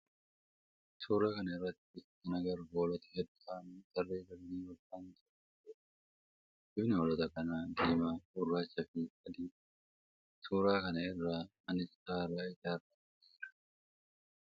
Suuraa kana irratti kan agarru hoolota heddu ta'aan tarree galanii walfaana deemaa jiranidha. Bifni hoolota kanaa diimaa, gurraachaa fi adii dha. Suuraa kana irra manni citaa irraa ijaarame ni jira.